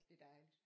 Det dejligt